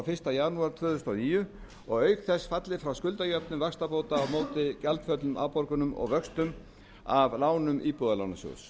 fyrsta janúar tvö þúsund og níu og auk þess fallið frá skuldajöfnun vaxtabóta á móti gjaldföllnum afborgunum og vöxtum af lánum íbúðalánasjóðs